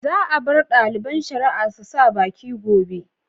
Za a bar ɗaliban shari'a su sa baki gobe.